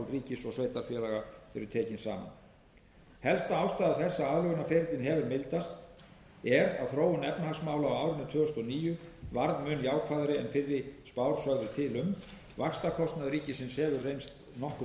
ríkis og sveitarfélaga eru tekin saman helsta ástæða þess að aðlögunarferillinn hefur mildast er að þróun efnahagsmála á árinu tvö þúsund og níu var mun jákvæðari en fyrri spár sögðu til um vaxtakostnaður ríkisins hefur reynst nokkru